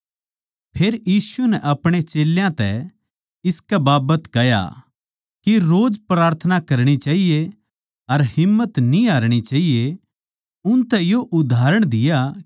फेर यीशु नै अपणे चेल्यां तै इसकै बाबत कह्या के रोज प्रार्थना करणी चाहिये अर हिम्मत न्ही हारनी चाहिये उनतै यो उदाहरण दिया